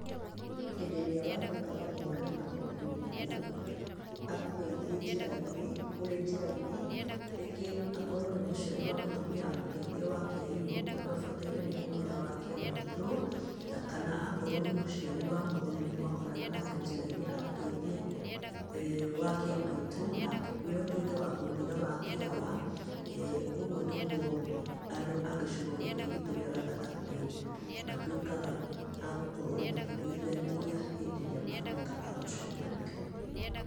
Hĩndĩ ĩrĩa watuĩka wa gũkorana na mũndũ mũkũrũ akũgeithie njĩra-inĩ ũrĩ njĩra-inĩ, rĩngĩ akorwo nĩ mũciari wa mũtumia akũgeithie wakĩa iyũ, wee ũbatare nĩ kũmwĩra wakĩa maitũ, na kana akorwo nĩ mũciari wa mũthuri mwakorana nake njĩra-inĩ akũgeithie wakĩa maitũ, nawe ũtuĩke wa kũmwĩra wakĩa awa, ũguo nĩguo andũ a gĩcigo gĩkĩ gitũ gĩa gatagatĩ matuĩkaga a gũkorwo makĩgeithania hĩndĩ ĩrĩa matuĩka a gũcemania.